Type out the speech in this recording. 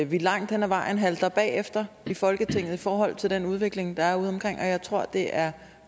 vi langt hen ad vejen halter bagefter i folketinget i forhold til den udvikling der er ude omkring og jeg tror at det er